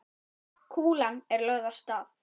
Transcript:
Kúlan er lögð af stað.